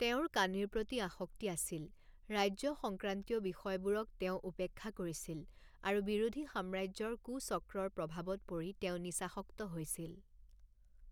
তেওঁৰ কানিৰ প্ৰতি আসক্তি আছিল, ৰাজ্য সংক্ৰান্তীয় বিষয়বোৰক তেওঁ উপেক্ষা কৰিছিল, আৰু বিৰোধী সাম্ৰাজ্যৰ কুচক্ৰৰ প্ৰভাৱত পৰি তেওঁ নিচাসক্ত হৈছিল।